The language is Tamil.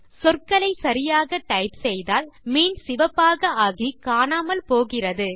சொற்களை சரியாக டைப் செய்தால் மீன் சிவப்பாக ஆகி காணாமல் போகிறது